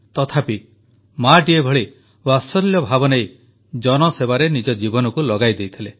ତଥାପି ମାଆଟିଏ ଭଳି ବାତ୍ସଲ୍ୟ ଭାବନେଇ ଜନସେବାରେ ନିଜ ଜୀବନକୁ ଲଗାଇଦେଇଥିଲେ